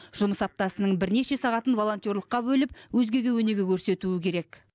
жұмыс аптасының бірнеше сағатын волонтерлыққа бөліп өзгеге өнеге көрсетуі керек